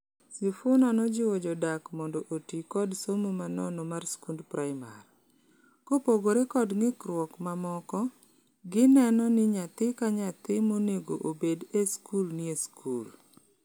Sifuna nojiwo jodak mondo otii kod somo manono mar skund primar. Kopogore kod ng'ikruok mamoko, gineno ni nyathi ka nyathi manego oebd e skul nie skul.